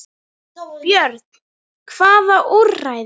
Björn: Hvaða úrræði?